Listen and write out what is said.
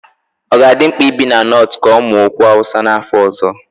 Ọ ga-adị mkpa ibi na Nortu ka ọ mụọ okwu Hausa n'afọ ọzọ?